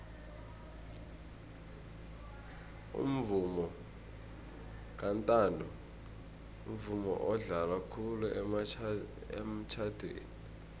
umvomo kantanto mvumo odlalwa khulu emitjhadweni